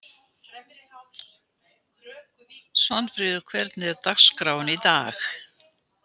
Svanfríður, hvernig er dagskráin í dag?